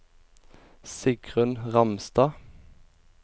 Sigrunn Ramstad